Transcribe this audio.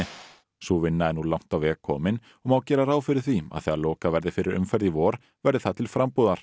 sú vinna er nú langt á veg komin og má gera ráð fyrir því að þegar lokað verði fyrir umferð í vor verði það til frambúðar